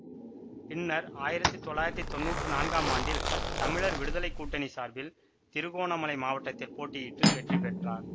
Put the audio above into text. பின்னர் ஆயிரத்தி தொள்ளாயிரத்தி தொன்னூற்று நான்காம் ஆண்டில் தமிழர் விடுதலை கூட்டணி சார்பில் திருகோணமலை மாவட்டத்தில் போட்டியிட்டு வெற்றி பெற்றார்